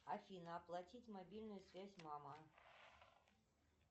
афина оплатить мобильная связь мама